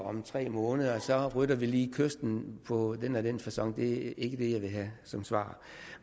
om tre måneder så rydder vi lige kysten på den og den facon det er ikke det jeg vil have som svar